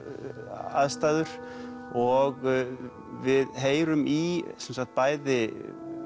aðstæður og við heyrum í sem sagt bæði